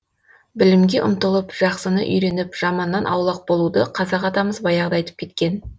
білімге ұмтылып жақсыны үйреніп жаманнан аулақ болуды қазақ атамыз баяғыда айтып кеткен